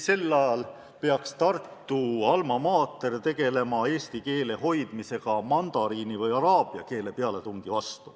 Sel ajal peaks Tartu alma mater tegelema eesti keele hoidmisega mandariini või araabia keele pealetungi eest.